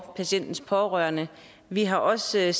patientens pårørende vi har også